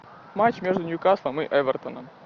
матч между ньюкаслом и эвертоном